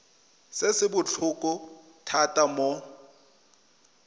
se se botlhokwa thata mo